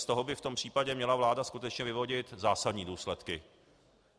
Z toho by v tom případě měla vláda skutečně vyvodit zásadní důsledky.